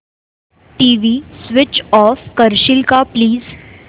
TV switch off करशील का please